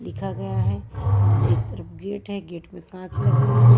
लिखा गया है एक तरफ गेट है गेट पर काँच लगी हुई है।